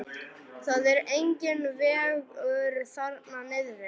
Það er enginn vegur þarna niðri.